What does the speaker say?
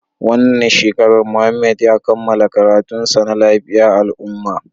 Wannan shekarar Muhammad ya kammala karatunsa na lafiyar al'ummah